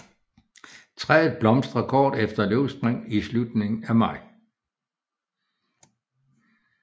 Træet blomstrer kort efter løvspring i slutningen af maj